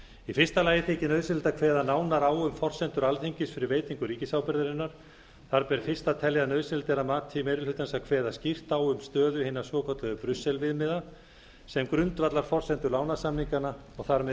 í fyrsta lagi þykir nauðsynlegt að kveða nánar á um forsendur alþingis fyrir veitingu ríkisábyrgðarinnar þar ber fyrst að telja að nauðsynlegt er að mati meiri hlutans að kveða skýrt á um stöðu hinna svokölluðu brussel viðmiða sem grundvallarforsendu lánasamninganna og þar með